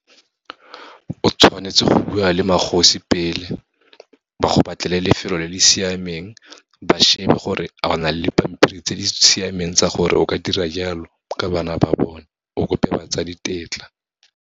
O tshwanetse go bua le magosi pele, ba go batlele lefelo le le siameng, ba shebe gore a o na le pampiri tse di siameng tsa gore o ka dira jalo, ka bana ba bone, o kope batsadi tetla.